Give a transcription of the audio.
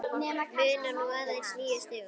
Munar nú aðeins níu stigum.